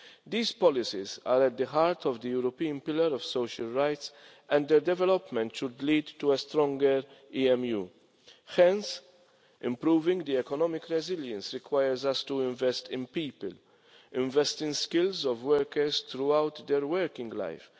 These policies are at the heart of the European Pillar of Social Rights and their development should lead to a stronger European Monetary Union Hence, improving economic resilience requires us to invest in people, invest in the skills of workers throughout their working life.